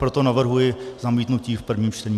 Proto navrhuji zamítnutí v prvním čtení.